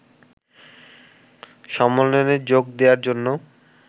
সম্মেলনে যোগ দেওয়ার জন্য